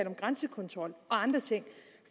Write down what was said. om grænsekontrol og andre ting